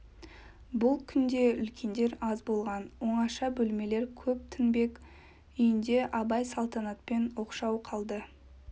бұл күнде үлкендер аз болған оңаша бөлмелер көп тінбек үйінде абай салтанатпен оқшау қалды